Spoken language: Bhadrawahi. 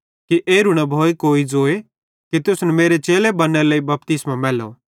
कि एरू न भोए कोई ज़ोए कि तुसन मेरे चेले बन्नेरे लेइ बपतिस्मो मैलो